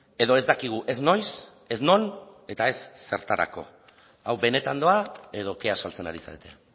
edo ez dakigu ez noiz ez non eta ez zertarako hau benetan doa edo kea saltzen ari zarete